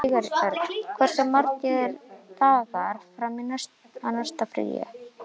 Sigurörn, hversu margir dagar fram að næsta fríi?